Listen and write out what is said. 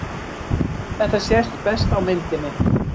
Þetta sést best á myndinni.